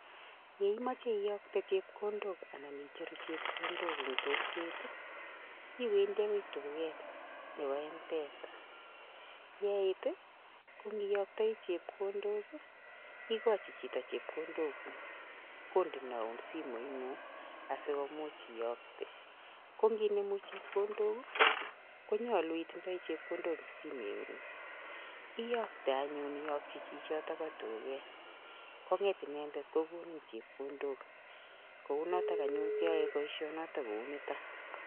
ye mache iyokte chepkondok anan icheru chepkondok eng kokwet, iwendi okoi duket nebo Mpesa. Ye iit iyoktoi chepkondok ,igochi chito chepkondok guuk kondenoun simuit ng'ung asikoimuuch iyokte. Kongenomu chepkondok konyolu itinye chepkondok eng simuit ng'ung, iyokte anyun iyoktochi chichoto po duket, Kong'et inendet kogonin chepkondok. Kou noto anyun kiyae boishonik ko u nito.